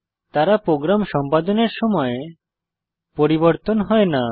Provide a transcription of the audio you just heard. তারা প্রোগ্রাম সম্পাদনের সময় পরিবর্তন হয় না